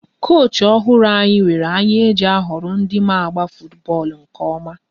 Koochi ọhụrụ anyị nwere anya e ji a họrọ ndị ma agba futubọọlụ nke ọma